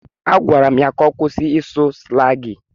Agwara m ya ka ọ kwụsị ịsụ slangị.